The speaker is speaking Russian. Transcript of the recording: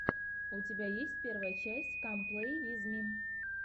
у тебя есть первая часть кам плей виз ми